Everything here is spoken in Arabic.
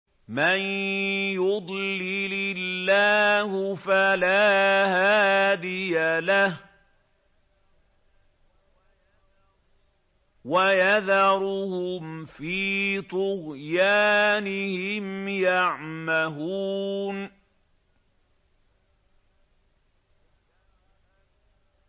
مَن يُضْلِلِ اللَّهُ فَلَا هَادِيَ لَهُ ۚ وَيَذَرُهُمْ فِي طُغْيَانِهِمْ يَعْمَهُونَ